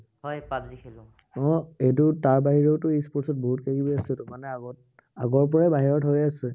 আহ এইটো তাৰ বাহিৰেওটো e sports ত বহুত কিবাকিবি আছেতো। মানে আগত, আগৰ পৰাই বাহিৰত হৈ আছে।